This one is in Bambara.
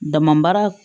Dama baara